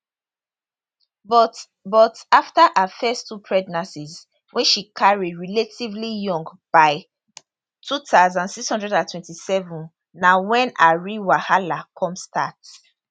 but but afta her first two pregnancies wey she carry relatively young by 2627 na wen her real wahala come start